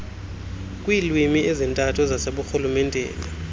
kwiilwimi ezintathu zaseburhulumenteni